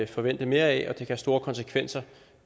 forvente mere af og det kan have store konsekvenser